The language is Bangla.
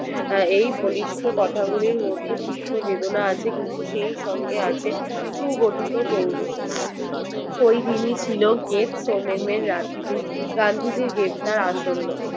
এই বলিষ্ঠ কথাগুলির মধ্যে চিত্ত বেদনা আছে কিন্তু সেই সঙ্গে আছে সু গঠিত জৌলুস ওই দিনই ছিল great someone এর রাত্রি গান্ধীজির গ্রেফতার আসন্ন